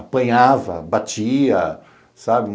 Apanhava, batia, sabe?